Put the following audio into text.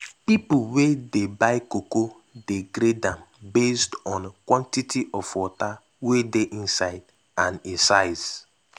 pipo wey dey buy cocoa dey grade am based on quantity of water wey dey inside and e size.